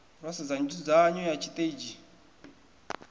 ro sedza nzudzanyo ya tshiteidzhi